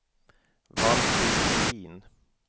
Valfrid Bohlin